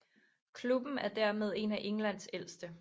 Klubben er dermed en af Englands ældste